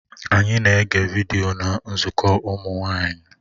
Anyị na-ege vidiyo na nzukọ ụmụ nwanyị